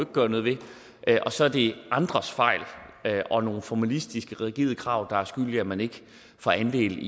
gøre noget ved og så er det andres fejl og nogle formalistiske rigide krav der er skyld i at man ikke får andel